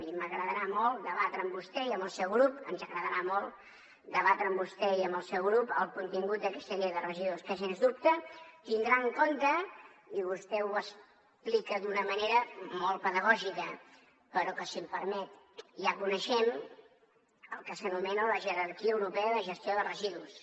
i ens agradarà molt debatre amb vostè i amb el seu grup el contingut d’aquesta llei de residus que sens dubte tindrà en compte i vostè ho explica d’una manera molt pedagògica però que si m’ho permet ja coneixem el que s’anomena jerarquia europea de gestió de residus